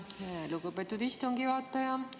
Tänan, lugupeetud istungi juhataja!